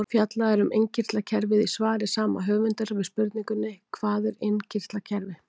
Fjallað er um innkirtlakerfið í svari sama höfundar við spurningunni Hvað er innkirtlakerfi?